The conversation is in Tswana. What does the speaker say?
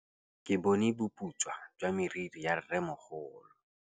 Ke bone boputswa jwa meriri ya rrêmogolo.